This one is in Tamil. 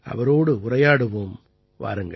அவரோடு உரையாடுவோம் வாருங்கள்